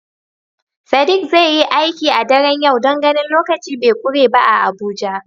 Sadiq zai yi aiki a daren yau don ganin lokaci be kure ba a Abuja.